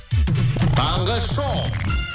таңғы шоу